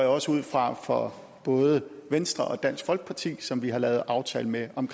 jeg også ud fra for både venstre og dansk folkeparti som vi har lavet aftale med om